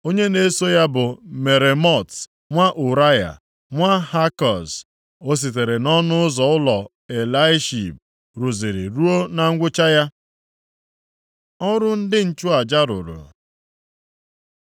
Onye na-eso ya bụ Meremot nwa Ụraya, nwa Hakoz. Ọ sitere nʼọnụ ụzọ ụlọ Eliashib rụziri ruo na ngwụcha ya. Ọrụ ndị nchụaja rụrụ